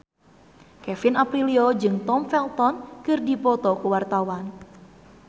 Kevin Aprilio jeung Tom Felton keur dipoto ku wartawan